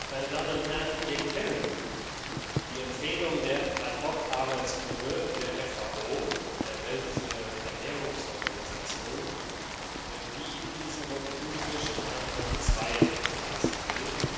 Meine Damen und Herren, wir kennen die Empfehlungen der Ad hoc Arbeitsgruppe der FAO, der Welternährungsorganisation, die den Roten Thunfisch in Anhang II belassen will.